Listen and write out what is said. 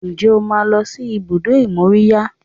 Ǹjẹ́ o máa ń lọ sí ibùdó ìmóríyá?